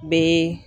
Bɛ